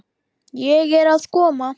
Ég er að koma.